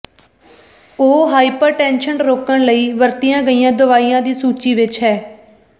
ਉਹ ਹਾਈਪਰਟੈਨਸ਼ਨ ਰੋਕਣ ਲਈ ਵਰਤੀਆਂ ਗਈਆਂ ਦਵਾਈਆਂ ਦੀ ਸੂਚੀ ਵਿੱਚ ਹੈ